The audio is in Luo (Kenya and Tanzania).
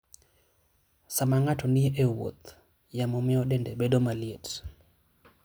Sama ng'ato ni e wuoth, yamo miyo dende bedo maliet.